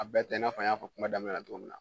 A bɛɛ tɛ i n'a fɔ n y'a fɔ kuma daminɛ na cogo min na